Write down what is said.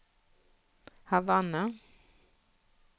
Havanna